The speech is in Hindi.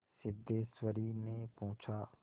सिद्धेश्वरीने पूछा